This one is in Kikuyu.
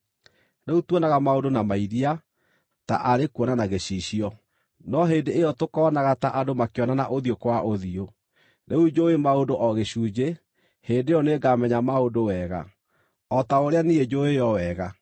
Rĩu tuonaga maũndũ na mairia, ta kuona na gĩcicio; no hĩndĩ ĩyo tũkoonaga ta andũ makĩonana ũthiũ kwa ũthiũ. Rĩu njũũĩ maũndũ o gĩcunjĩ; hĩndĩ ĩyo nĩngamenya maũndũ wega, o ta ũrĩa niĩ njũũĩo wega.